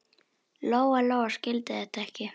Lóa-Lóa skildi þetta ekki.